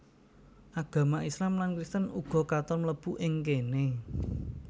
Agama Islam lan Kristen uga katon mlebu ing kéné